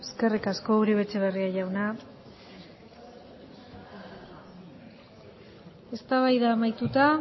eskerrik asko uribe etxebarria jauna eztabaida amaituta